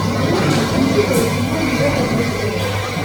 найди на телевизоре канал европа плюс тв